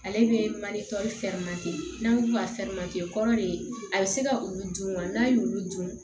Ale bɛ mali fɛn makɛ n'a ko ka fɛn kɔrɔ de ye a bɛ se ka olu dun wa n'a y'olu dun